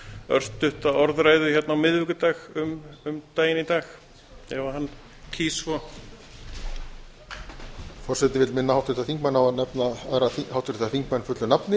örstutta orðræðu hérna á miðvikudag um daginn í dag ef hann kýs svo forseti minnir háttvirta þingmenn á að nefna aðra háttvirta þingmenn fullu nafni